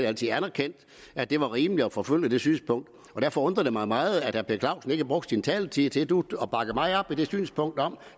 altid anerkendt at det var rimeligt at forfølge det synspunkt derfor undrer det mig meget at herre per clausen ikke brugte sin taletid til nu at bakke mig op i det synspunkt